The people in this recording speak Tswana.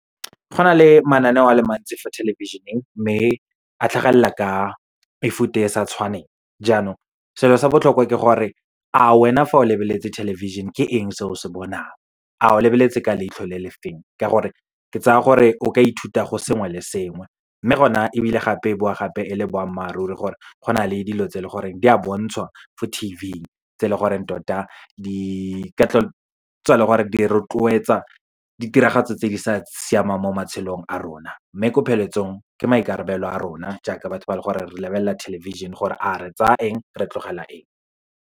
Go na le mananeo a le mantsi fa thelebišeneng, mme a tlhagelela ka mefuta e e sa tshwaneng. Jaanong, selo sa botlhokwa ke gore a wena fa o lebeletse television ke eng se o se bonang, ao lebeletse ka leitlho le le feng ka gore, ke tsaya gore o ka ithuta go sengwe le sengwe. Mme gona ebile gape, e bowa gape e le boammaaruri gore go na le dilo tse le gore di a bontshwa fo T_V tse e leng gore tota di rotloetsa ditiragatso tse di sa siamang mo matshelong a rona. Mme ko pheletsong, ke maikarabelo a rona jaaka batho ba le goreng re lebelela television gore a re tsa eng, re tlogela eng.